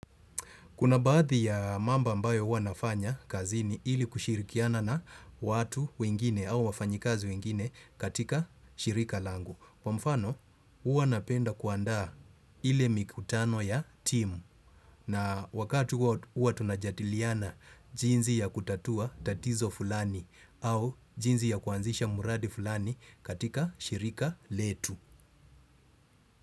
Kuna baadhi ya mambo ambayo huwa nafanya kazini ili kushirikiana na watu wengine au wafanyikazi wengine katika shirika langu. Kwa mfano, huwa napenda kuandaa ile mikutano ya timu na wakati huwa tunajadiliana jinsi ya kutatua tatizo fulani au jinsi ya kuanzisha mradi fulani katika shirika letu.